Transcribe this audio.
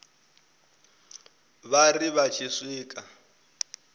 vha ri vha tshi swika